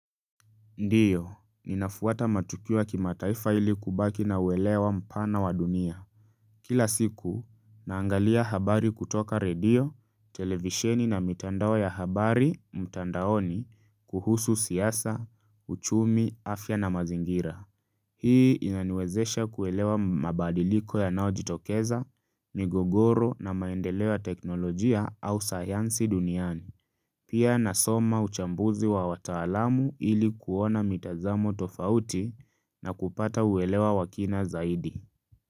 Ndiyo, ninafuata matukio ya kima taifa ili kubaki na uelewa mpana wa dunia. Kila siku, naangalia habari kutoka radio, televisheni na mitandao ya habari, mtandaoni, kuhusu siyasa, uchumi, afya na mazingira. Hii inaniwezesha kuelewa mabadiliko yanao jitokeza, migogoro na maendeleo ya teknolojia au sayansi duniani. Pia nasoma uchambuzi wa wataalamu ili kuona mitazamo tofauti na kupata uelewa wa kina zaidi.